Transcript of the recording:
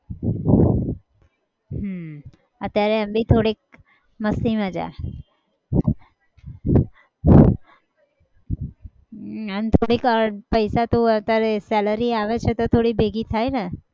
હમ અત્યારે એમ બી થોડીક મસ્તી મજા હમ એમ થોડીક પૈસા તો અત્યારે salary આવે છે તો થોડી ભેગી થાય ને